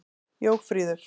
Jófríður